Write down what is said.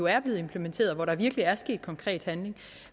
er blevet implementeret og hvor der virkelig er sket konkret handling